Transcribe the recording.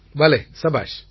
பலே சபாஷ்